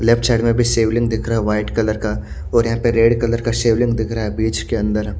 Left side में भी शिवलिंग दिख रहा वाइट कलर का और यहां पर रेड कलर का शिवलिंग दिख रहा है ब्रिज के अंदर।